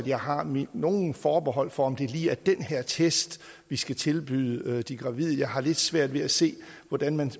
jeg har nogle forbehold over for om det lige er den her test vi skal tilbyde de gravide jeg har lidt svært ved at se hvordan man